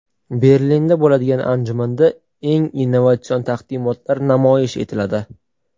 Berlinda bo‘ladigan anjumanda eng innovatsion taqdimotlar namoyish etiladi.